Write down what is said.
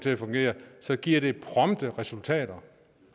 at fungere så giver det prompte resultater